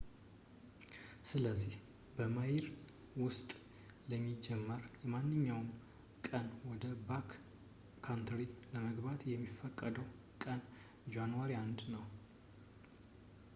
ስለዚህ፣ በሜይ ወር ውስጥ ለሚጀምር ማንኛውም ቀን ወደbackcountry ለመግባት የሚፈቀደው ቀን ጃኑዋሪ 1 ነው